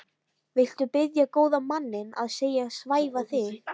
Viltu biðja góða manninn að svæfa þig?